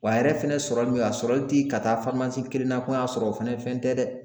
Wa a yɛrɛ fɛnɛ sɔrɔli min a sɔrɔli ti ka taa kelen na ko n y'a sɔrɔ o fɛnɛ fɛn tɛ dɛ!